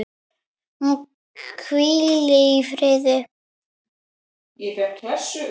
Hún hvíli í friði.